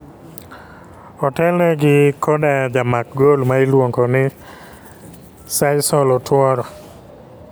otel ne gi koda jamak gol ma iluongo ni sisal otuoro.